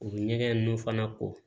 U bɛ ɲɛgɛn ninnu fana ko